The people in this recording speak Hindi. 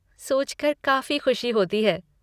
सोचकर काफ़ी ख़ुशी होती है।